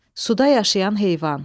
Suda yaşayan heyvan.